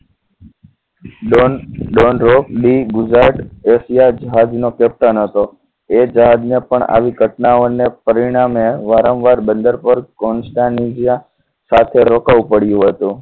Don ડોન રોક દી ગુજરાત રશિયા જહાજનો કેપ્ટન હતો એ જહાજને પણ આવી ઘટનાઓ ને પરિણામે વારંવાર બંદર ઉપર કોન્સ્ટેજિયા સાથે રોકાવું પડ્યું હતું